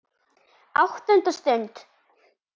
ÁTTUNDA STUND